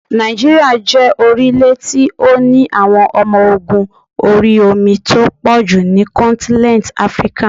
Nàìjíríà jẹ́ orílẹ̀ tí ó ní àwọn ọmọ ogún orí omi tó pọ̀jù ní kọ́ntínẹ́ntì Áfríkà.